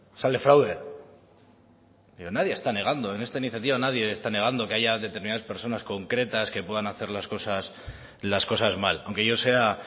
sale fraude pero nadie está negando en esta iniciativa nadie está negando que haya determinadas personas concretas que puedan hacer las cosas mal aunque yo sea